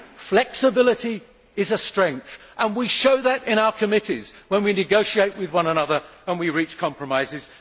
Flexibility is a strength, and we show that in our committees when we negotiate with one another and we reach compromises.